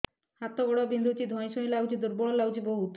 ହାତ ଗୋଡ ବିନ୍ଧୁଛି ଧଇଁସଇଁ ଲାଗୁଚି ଦୁର୍ବଳ ଲାଗୁଚି ବହୁତ